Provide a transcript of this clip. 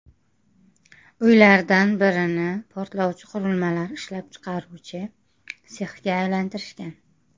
Uylardan birini portlovchi qurilmalar ishlab chiqaruvchi sexga aylantirishgan.